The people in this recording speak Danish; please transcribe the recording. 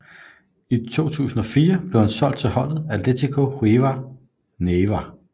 I år 2004 blev han solgt til holdet Atlético Huila Neiva